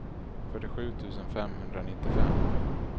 fyrtiosju tusen femhundranittiofem